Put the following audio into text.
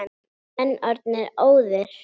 Voru menn orðnir óðir!